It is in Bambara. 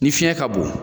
Ni fiɲɛ ka bon